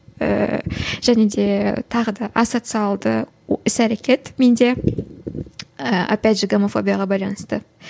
ііі және де тағы да ассоциалды іс әрекет менде ііі опять же гомофобияға байланысты